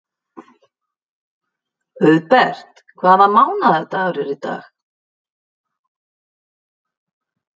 Auðbert, hvaða mánaðardagur er í dag?